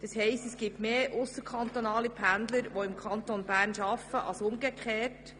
Das heisst, es gibt mehr ausserkantonale Pendler, die im Kanton Bern arbeiten, als umgekehrt.